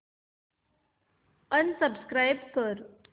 unsubscribe कर